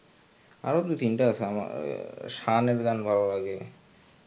আরো দু তিনটা আছে আমার আহ শানের গান ভালো লাগে এই তো আরো দুই তিনটা থাকবে এরকম নাম মনে পড়তেসে না.